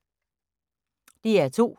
DR2